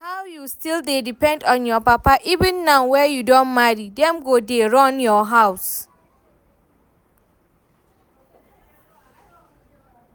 How you still dey depend on your papa even now wey you don marry, dem go dey run your house